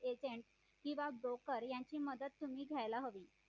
agent किंवा broker यांची मदत तुम्ही घ्यायला हवी